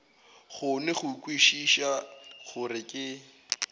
kgone go kwešiša gore ke